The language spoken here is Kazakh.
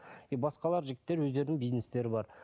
и басқалар жігіттер өздерінің бизнестері бар